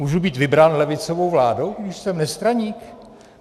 Můžu být vybrán levicovou vládou, když jsem nestraník?